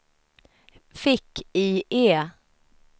fick-IE